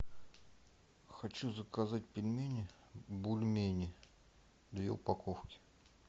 хочу заказать пельмени бульмени две упаковки